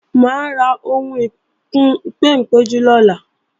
Mà á ra ohun ìkùn-ìpéǹpéjú lọ́la